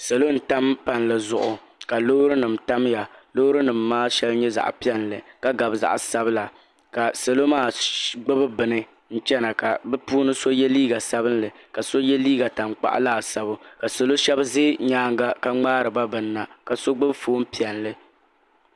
Salo n tam palli zuɣu ka loori nima tamya loori nima maa sheli nyɛ zaɣa piɛlli ka gabi zaɣa sabila ka salo maa gbibi bini chena ka bɛ puuni so ye liiga sabinli ka so ye liiga tankpaɣu laasabu ka salo Sheba ʒɛ nyaanga ka ŋmaariba bini na so gbibi fooni piɛlli.